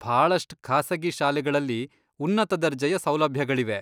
ಭಾಳಷ್ಟ್ ಖಾಸಗಿ ಶಾಲೆಗಳಲ್ಲಿ ಉನ್ನತ ದರ್ಜೆಯ ಸೌಲಭ್ಯಗಳಿವೆ.